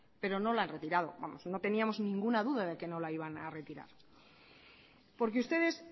pero no la han retirado vamos no teníamos ninguna duda de que no la iban a retirar porque ustedes